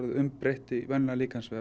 umbreytt í